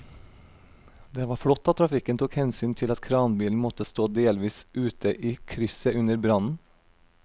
Det var flott at trafikken tok hensyn til at kranbilen måtte stå delvis ute i krysset under brannen.